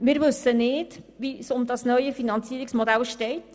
Wir wissen nicht, wie es um das neue Finanzierungsmodell steht.